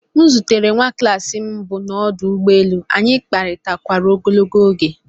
M zutere nwa klas m mbụ n'ọdụ ụgbọ elu, anyị kparịtakwara ogologo oge